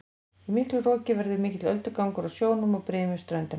Í miklu roki verður mikill öldugangur á sjónum og brim við ströndina.